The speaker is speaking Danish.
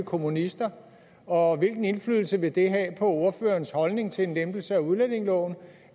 kommunister og hvilken indflydelse vil det have på ordførerens holdning til en lempelse af udlændingeloven